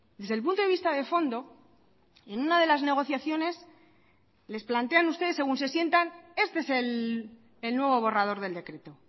desde el punto de vista de fondo en una de las negociaciones les plantean ustedes según se sientan este es el nuevo borrador del decreto